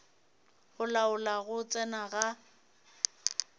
go laola go tsena ga